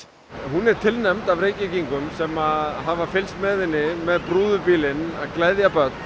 hún er tilnefnd af Reykvíkingum sem hafa fylgst með henni með brúðubílinn að gleðja börn